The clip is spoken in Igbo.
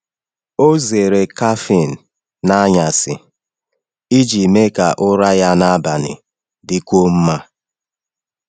Ọ zere kafiin n’anyasị iji mee ka ụra ya n’abalị dịkwuo mma.